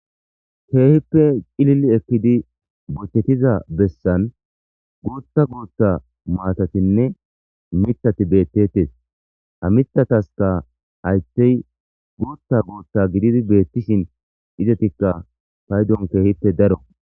Keehippe cilili ekkidi bochchettiza bessan guutta gootta maatatinne mitati bettettes ha mitataska haytey guutta gootta gididi beettishin izetikka faydon keehippe daro.